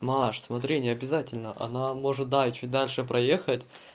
маш смотри необязательно она может да чуть дальше проехать